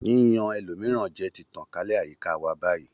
Yíyan ẹlòmíràn jẹ ti tàn kálẹ̀ ní àyíká wa báyìí